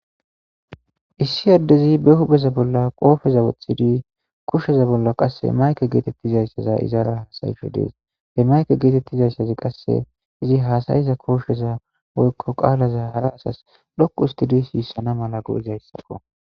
Issi addezi be hubeza bolla qoofeza wothidi kushsheza bolla qasse mayke geetettizayssaza izaara hasayisho dees he mayke geetettizayssazi qasse izi haasayiza koosheza woykko qaalaza hara asas dhoqu ustidi siissana mala go7izayssakko.